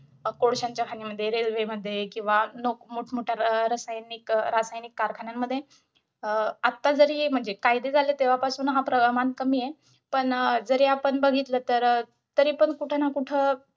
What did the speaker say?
कोळश्याच्या खाणीमध्ये, railway मध्ये किंवा मोठ मोठ्या रासायनिक रासायनिक कारखान्यांन मध्ये अं आता जरी म्हणजे कायदे झाले तेव्हापासून हा प्रमाण कमी आहे. पण, अं जरी आपण बघितलं तर अं तरीपण कुठेना कुठं